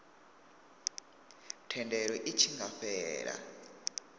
thendelo i tshi nga fhela